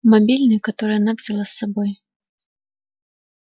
мобильный который она взяла с собой